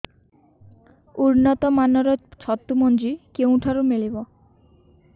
ଉନ୍ନତ ମାନର ଛତୁ ମଞ୍ଜି କେଉଁ ଠାରୁ ମିଳିବ